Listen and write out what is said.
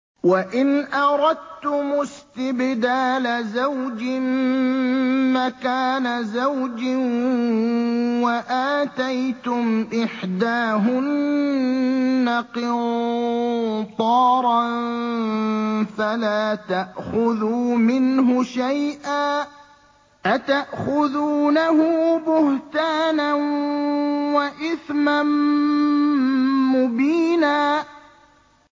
وَإِنْ أَرَدتُّمُ اسْتِبْدَالَ زَوْجٍ مَّكَانَ زَوْجٍ وَآتَيْتُمْ إِحْدَاهُنَّ قِنطَارًا فَلَا تَأْخُذُوا مِنْهُ شَيْئًا ۚ أَتَأْخُذُونَهُ بُهْتَانًا وَإِثْمًا مُّبِينًا